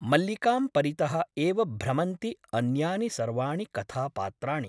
मल्लिकां परितः एव भ्रमन्ति अन्यानि सर्वाणि कथापात्राणि ।